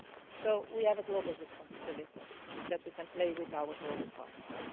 So we have a global responsibility that we can play with our global partners.